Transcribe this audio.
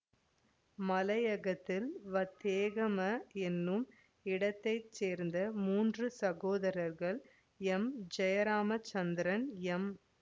மலையகத்தில் வத்தேகம எனும் இடத்தைச்சேர்ந்த மூன்று சகோதரர்கள் எம் ஜெயராமச்சந்திரன் எம்